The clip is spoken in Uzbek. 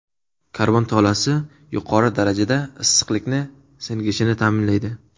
Karbon tolasi yuqori darajada issiqlikni singishini ta’minlaydi.